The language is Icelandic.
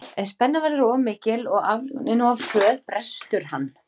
Ef spennan verður of mikil og aflögunin of hröð brestur hann.